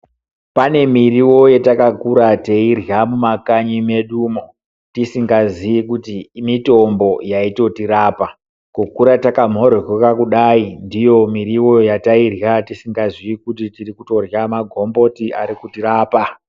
Pane miriwo yatakakura teirya mumakanyi mwedumo tisingatoziyii kuti mitombo yaitotirapa kukura takamhoryoroka kudai ndiyo miriwo yatairya tisingazii kuti tiri kutorya magomboti ari kutirapa.